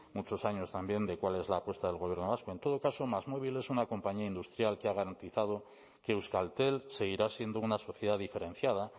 muchos años también de cuál es la apuesta del gobierno vasco en todo caso másmóvil es una compañía industrial que ha garantizado que euskaltel seguirá siendo una sociedad diferenciada